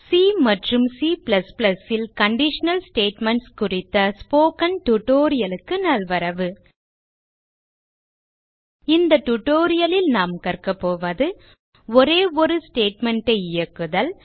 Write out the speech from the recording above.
C மற்றும் C ல் conditional statements குறித்த ஸ்போக்கன் டியூட்டோரியல் க்கு நல்வரவு இந்த டியூட்டோரியல் ல் நாம் கற்க போவது ஒரே ஒரு ஸ்டேட்மெண்ட் ஐ இயக்குதல்